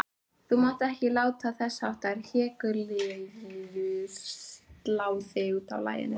Þú mátt ekki láta þessháttar hégiljur slá þig útaf laginu.